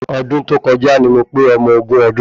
Ọdún tó kọjá ni mo pé ọmọ ogún ọdún